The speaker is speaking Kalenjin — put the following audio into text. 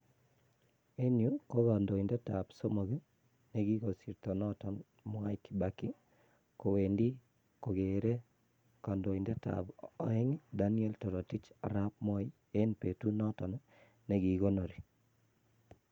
En yuh KO kondoindetab somok nekikosirto noton Mwai kibaki, kowendi kokere kandoindetab oeng Daniel Toroitich arap moi eng betut noton nekikonorii.